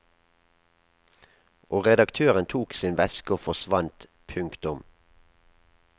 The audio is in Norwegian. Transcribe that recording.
Og redaktøren tok sin veske og forsvant. punktum